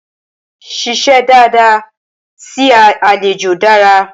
Ṣíṣe dada sí àlejò dára.